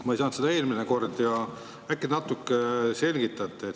Ma ei saanud sellest eelmine kord aru ja äkki te natuke selgitate.